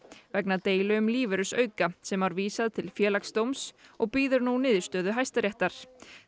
vegna deilu um lífeyrisauka sem var vísað til Félagsdóms og bíður nú niðurstöðu Hæstaréttar